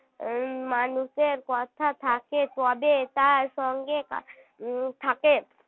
উম মানুষের কথা থাকে তবে তার সঙ্গে উম থাকে